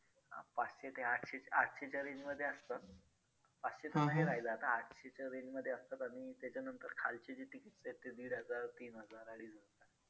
अं पाचशे ते आठशे आठशेच्या range मध्ये असतात. पाचशेचं नाही राहिलं आता आठशेच्या range मध्ये असतात आणि त्याच्यानंतर खालची जी tickets आहेत ते दीड हजार, तीन हजार, अडीच हजार